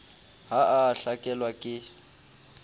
ha a a hlakelwa ke